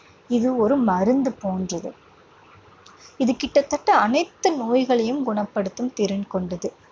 இது ஒரு மருந்து போன்றது. இது கிட்டத்தட்ட அனைத்து நோய்களையும் குணப்படுத்தும் திறன் கொண்டது.